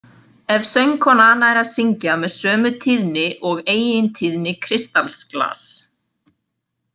Ef söngkona nær að syngja með sömu tíðni og eigintíðni kristallsglass.